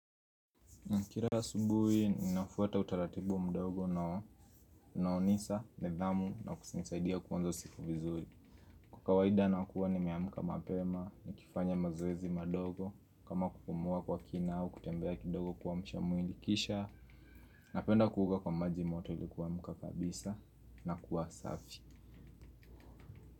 Kila subuhi ninafuata utaratibu mdogo unao nisa, nidhamu, na kunisaidia kuanza siku vizuri. Kwa kawaida, nakuwa ni meamka mapema nikifanya mazoezi madogo kama kupumua kwa kina au kutembea kidogo kuamsha mwili kisha napenda kuoga kwa maji moto ilikuamka kabisa na kuwa safi.